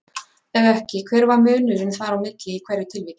Ef ekki, hver var munurinn þar á milli í hverju tilviki?